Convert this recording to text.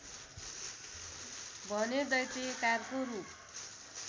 भने दैत्याकारको रूप